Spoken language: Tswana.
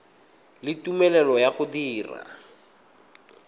le tumelelo ya go dira